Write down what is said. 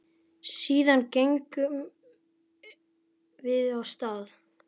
Síðan gengum við af stað.